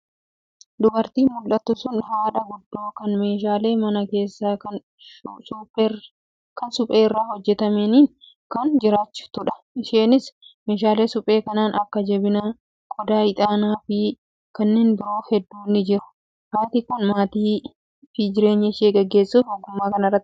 Dubartiin mul'attu sun haadha guddoo kan meeshaalee mana keessaa kan supheerraa hojjatamaniin of jiraachiftudha. Isheenis meeshaalee suphee kanneen akka jabanaa, qodaa ixaanaa fi kanneen biroo hedduun ni jiru. Haati kun maatii fi jireenya ishee gaggeessuuf ogummaa kanarratti hirkatti.